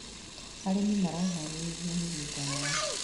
Arĩmi maraharĩrĩria mũgũnda yao.